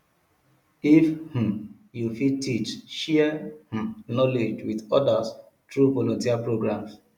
if um yu fit teach share um knowledge with odas tru volunteer programs